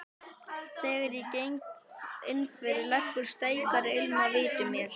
Þegar ég geng innfyrir leggur steikarilm að vitum mér.